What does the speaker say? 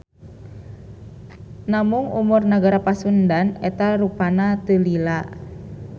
Namung umur Negara Pasundan eta rupana teu lila.